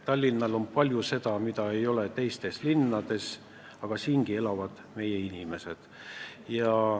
Tallinnas on palju seda, mida ei ole teistes linnades, ja siingi elavad meie inimesed.